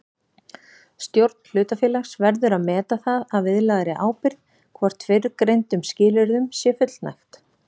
Stjórn hlutafélags verður að meta það að viðlagðri ábyrgð hvort fyrrgreindum skilyrðum sé fullnægt.